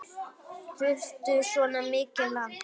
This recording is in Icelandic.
Þarftu svona mikið land?